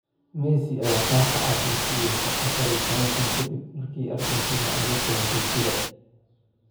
Messi ayaa kaarka cas la siiyay 14 sano kadib markii Argentina ay la kulantay Chile